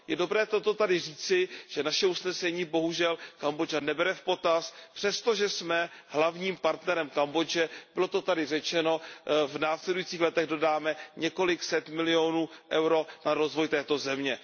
Je dobré toto tady říci, že naše usnesení bohužel Kambodža nebere v potaz přesto, že jsme hlavním partnerem Kambodže, bylo to tady řečeno, v následujících letech dodáme několik set milionů EUR na rozvoj této země.